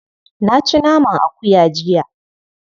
Na ci naman akuya jiya.